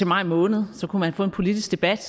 maj måned så kunne man få en politisk debat